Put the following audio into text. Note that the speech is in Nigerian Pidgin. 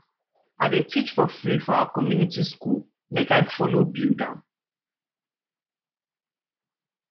i dey teach for free for our community skool make i folo build am